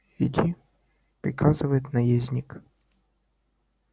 иди приказывает наездник